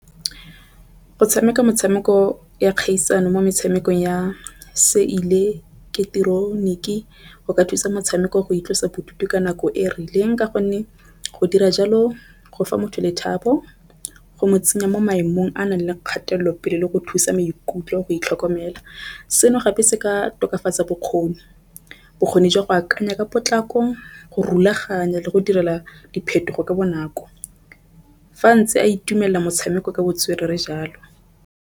Go tshameka metshameko ya kgaisano mo metshamekong ya seileketoroniki go ka thusa motshameko go itlosa bodutu ka nako e rileng, ka gonne go dira jalo go fa motho lethabo go mo tsenya mo maemong a a nang le kgatelopele le go thusa maikutlo go itlhokomela. Seno gape se ka tokafatsa bokgoni. Bokgoni jwa go akanya ka potlako go rulaganya le go direla diphetogo ka bonako, fa ntse a itumelela motshameko ka botswerere jalo.